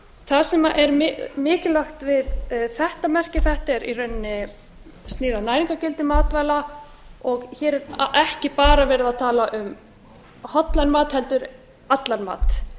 það sem er mikilvægt við þetta merki þetta snýr í rauninni að næringargildi matvæla og hér er ekki bara verið að tala um hollan mat heldur allan mat